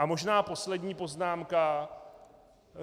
A možná poslední poznámka.